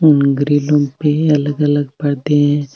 अलग अलग पर्दे है।